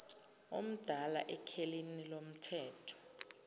omdala ekhelini lomthetho